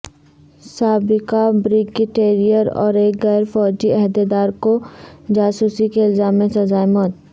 سابقہ بریگیڈیئر اور ایک غیر فوجی عہدیدار کو جاسوسی کے الزام میں سزائے موت